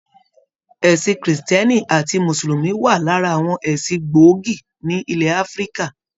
Ẹsìn kírísítẹ́nì àti musulumi wa lára àwọn ẹsìn gbógì ni ilẹ Áfíríkà.